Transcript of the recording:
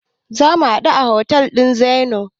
Zamu haɗu da otel ɗin Zennoor.